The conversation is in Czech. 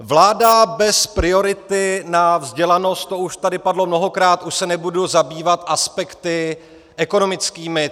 Vláda bez priority na vzdělanost, to už tady padlo mnohokrát, už se nebudu zabývat aspekty ekonomickými.